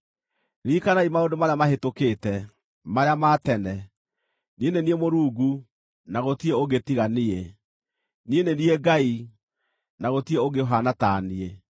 Ririkanai maũndũ marĩa mahĩtũkĩte, marĩa ma tene; niĩ nĩ niĩ Mũrungu, na gũtirĩ ũngĩ tiga niĩ; niĩ nĩ niĩ Ngai, na gũtirĩ ũngĩ ũhaana ta niĩ.